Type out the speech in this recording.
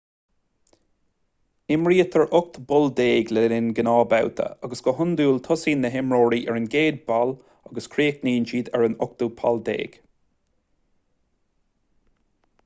imrítear ocht bpoll déag le linn gnáthbhabhta agus go hiondúil tosaíonn na himreoirí ar an gcéad pholl agus críochnaíonn siad ar an ochtú poll déag